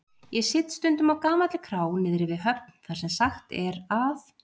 Ég sit stundum á gamalli krá niðri við höfn þar sem sagt er að